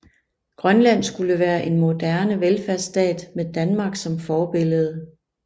Grønland skulle være en moderne velfærdsstat med Danmark som forbillede